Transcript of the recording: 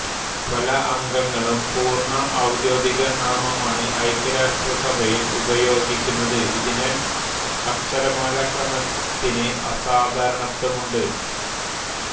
പല അംഗങ്ങളും പൂർണ്ണ ഔദ്യോഗിക നാമമാണ് ഐക്യരാഷ്ട്രസഭയിൽ ഉപയോഗിക്കുന്നത് ഇതിനാൽ അക്ഷരമാലാക്രമത്തിന് അസാധാരണത്വമുണ്ട്